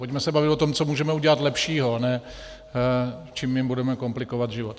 Pojďme se bavit o tom, co můžeme udělat lepšího, a ne čím jim budeme komplikovat život.